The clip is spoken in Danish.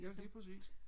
ja lige præcis